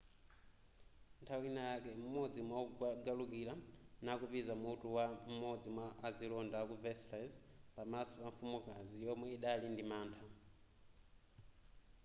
nthawi yina yake m'modzi mwawogalukira nakupiza mutu wa m'modzi mwa azilonda ku versailles pamaso pa mfumukazi yomwe idali ndi mantha